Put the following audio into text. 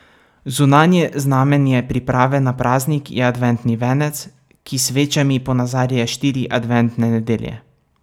Zunanje znamenje priprave na praznik je adventni venec, ki s svečami ponazarja štiri adventne nedelje.